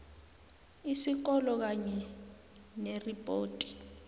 isikolo kanye neripoti